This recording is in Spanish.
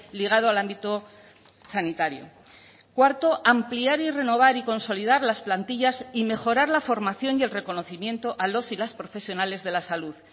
ligado al ámbito sanitario cuarto ampliar y renovar y consolidar las plantillas y mejorar la formación y el reconocimiento a los y las profesionales de la salud